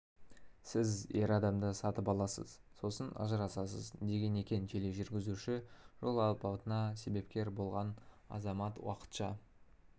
сіз ер адамды сатып аласыз сосын ажырасасыз деген екен тележүргізуші жол апатына себепкер болған азамат уақытша